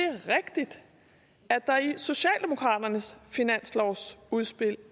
er rigtigt der i socialdemokraternes finanslovsudspil